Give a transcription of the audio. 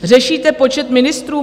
Řešíte počet ministrů?